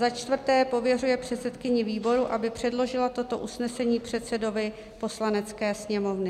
Za čtvrté pověřuje předsedkyni výboru, aby předložilo toto usnesení předsedovi Poslanecké sněmovny.